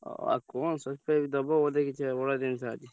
ଓ ଆଉ କଣ surprise ଦବ ବୋଧେ କିଛି ଦେଇଥାନ୍ତି।